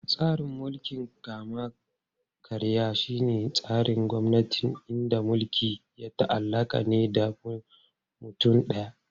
Tsarin mulkin kama-karya shine tsarin gwamnati inda mulki ya ta'allaka ne da mutum daya.